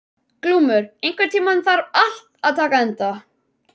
Glúmur, einhvern tímann þarf allt að taka enda.